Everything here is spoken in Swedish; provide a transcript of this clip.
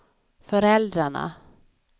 föräldrarna